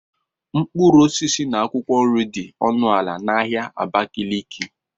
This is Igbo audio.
Mkpụrụ osisi na akwụkwọ nri dị ọnụ ala na ahịa Abakaliki